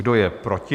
Kdo je proti?